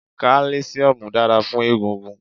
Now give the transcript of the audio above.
Kálísíómù dára fún egungun